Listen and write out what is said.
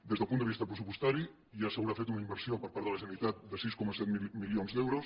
des del punt de vista pressupostari ja s’haurà fet una inversió per part de la generalitat de sis coma set milions d’euros